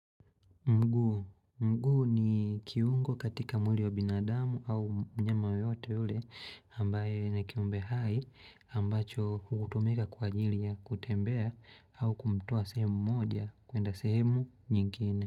Mguu, mguu ni kiungo katika mwili wa binadamu au mnyama yoyote ule ambaye na kiumbe hai ambacho hutumika kwa ajili ya kutembea au kumtoa sehemu moja kuenda sehemu nyingine.